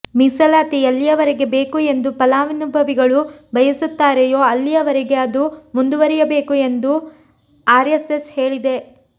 ಮೀಸಲಾತಿ ಎಲ್ಲಿಯವರೆಗೆ ಬೇಕು ಎಂದು ಫಲಾನುಭವಿಗಳು ಬಯಸುತ್ತಾರೆಯೋ ಅಲ್ಲಿಯವರೆಗೆ ಅದು ಮುಂದುವರಿಯಬೇಕು ಎಂದು ಆರ್ಎಸ್ಎಸ್ ಹೇಳಿದೆ